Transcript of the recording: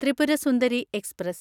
Tripura Sundari express